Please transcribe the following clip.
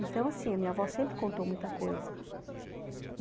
Então, assim, a minha avó sempre contou muita coisa.